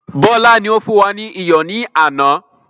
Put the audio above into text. Bọlá ni ó fún wa ní iyọ̀ ni àná.